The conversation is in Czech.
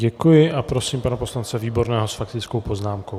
Děkuji a prosím pana poslance Výborného s faktickou poznámkou.